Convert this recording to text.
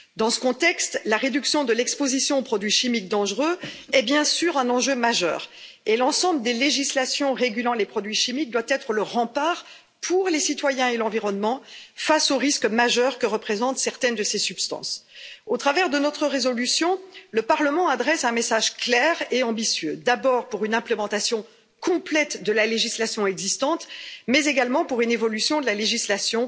Dans ce contexte, la réduction de l'exposition aux produits chimiques dangereux est bien sûr un enjeu majeur et l'ensemble des législations régulant les produits chimiques doit être le rempart pour les citoyens et l'environnement, face au risque majeur que représentent certaines de ces substances. Au travers de notre résolution, le Parlement formule un message clair et ambitieux, d'abord pour une mise en œuvre complète de la législation existante, mais également pour une évolution de la législation